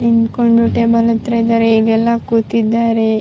ನಿಂತ್ಕೊಂಡು ಟೇಬಲ್ ಹತ್ರ ಇದ್ದಾರೆ ಈಗೆಲ್ಲ ಕೂತಿದ್ದಾರೆ.